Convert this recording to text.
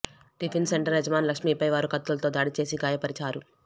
tiffin centre యజమాని లక్ష్మిపై వారు కత్తులతో దాడి చేసి గాయపరిచారు